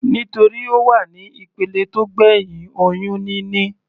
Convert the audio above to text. Nítorí Ó wà ní ìpele tó gbẹ̀hìn oyún níní.